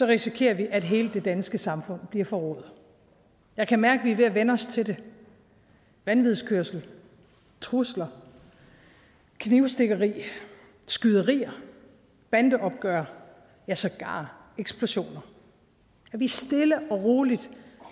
risikerer vi at hele det danske samfund bliver forrået jeg kan mærke vi er ved at vænne os til det vanvidskørsel trusler knivstikkeri skyderier bandeopgør ja sågar eksplosioner at vi stille og roligt